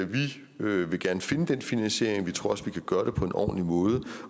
vi vil gerne finde den finansiering vi tror også vi kan gøre det på en ordentlig måde